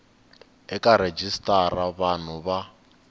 eka rejistara ya vanhu va